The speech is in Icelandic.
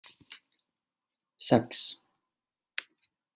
sex